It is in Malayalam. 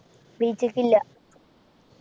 beach ക്കില്ല